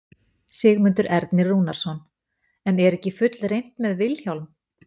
Sigmundur Ernir Rúnarsson: En er ekki fullreynt með Vilhjálm?